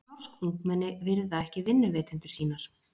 Norsk ungmenni virða ekki vinnuveitendur sína